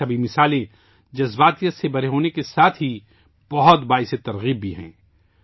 یہ تمام مثالیں جذبات سے بھری ہونے کے ساتھ ہی انتہائی تحریک دینے والی بھی ہیں